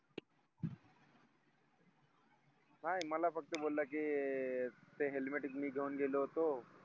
नाय मला फक्त बोला की ते helmet च मी घेऊन गेलो होतो